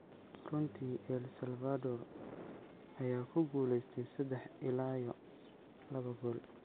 Runtii El Salvador ayaa ku guuleystay sadex ila yo lawa gol.